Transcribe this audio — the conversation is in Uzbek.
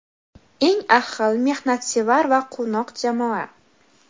Eng ahil, mehnatsevar va quvnoq jamoa!.